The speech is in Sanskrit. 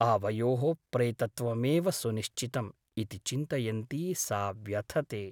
आवयोः प्रेतत्वमेव सुनिश्चितम् ' इति चिन्तयन्ती सा व्यथते ।